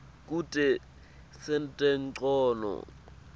kute sente ncono